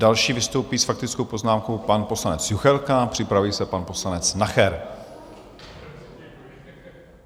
Další vystoupí s faktickou poznámkou pan poslanec Juchelka a připraví se pan poslanec Nacher.